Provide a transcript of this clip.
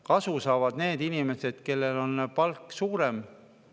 Kasu saavad need inimesed, kellel on suurem palk.